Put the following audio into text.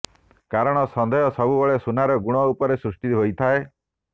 କାରଣ ସନ୍ଦେହ ସବୁବେଳେ ସୁନାର ଗୁଣ ଉପରେ ସୃଷ୍ଟି ହୋଇଥାଏ